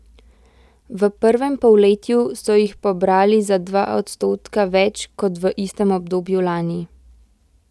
V prvem polletju so jih pobrali za dva odstotka več kot v istem obdobju lani.